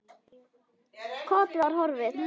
Kortið var horfið!